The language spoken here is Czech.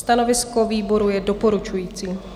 Stanovisko výboru je doporučující.